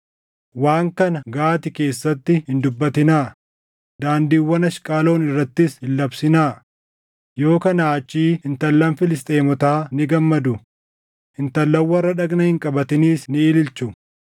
“Waan kana Gaati keessatti hin dubbatinaa; daandiiwwan Ashqaloon irrattis hin labsinaa; yoo kanaa achii intallan Filisxeemotaa ni gammadu; intallan warra dhagna hin qabatiniis ni ililchu.